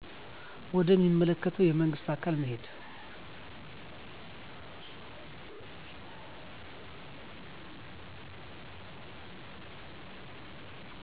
ወደ ሚመለከተ የመንግስት አካል መሄድ